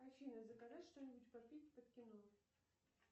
афина заказать что нибудь попить под кино